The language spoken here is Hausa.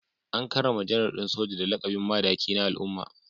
An karrama Janar din Soja da lakabin Madaki na al’umma